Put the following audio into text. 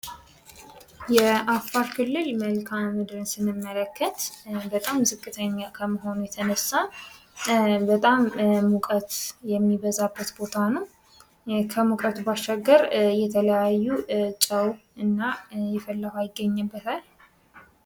የአፋር ክልል መልካም ምድርን ስንመለከት በጣም ዝቅተኛ ከመሆኑ የተነሳ በጣም ሙቀት የሚበዛበት ቦታ ነው ከሙቀቱ ባሻገር የተለያዩ ጨው እና የፈላ ውሃ ይገኝበታ ::